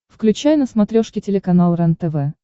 включай на смотрешке телеканал рентв